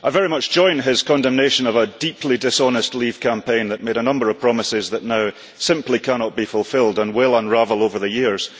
I very much join his condemnation of a deeply dishonest leave campaign that made a number of promises that now simply cannot be fulfilled and will unravel over the years.